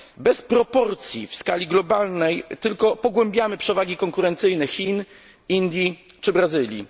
Bez proporcji w skali globalnej tylko pogłębiamy przewagi konkurencyjne Chin, Indii czy Brazylii.